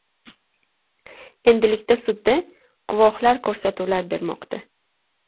Endilikda sudda guvohlar ko‘rsatuvlar bermoqda.